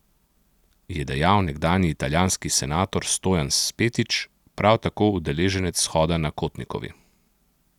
Je dejal nekdanji italijanski senator Stojan Spetič, prav tako udeleženec shoda na Kotnikovi.